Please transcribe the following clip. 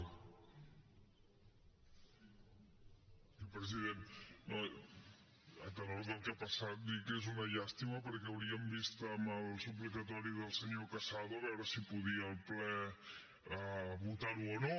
sí president a tenor del que ha passat dir que és una llàstima perquè hauríem vist amb el suplicatori del senyor casado a veure si podia el ple votar ho o no